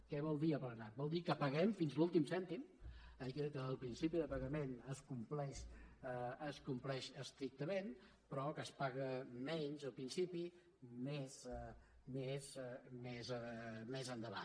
què vol dir aplanat vol dir que paguem fins a l’últim cèntim el principi de pagament es compleix estrictament però que es paga menys al principi més més endavant